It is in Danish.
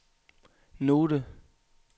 note